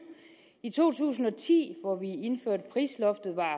i to tusind og ti hvor vi indførte prisloftet var